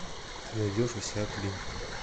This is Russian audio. ты найдешь у себя клин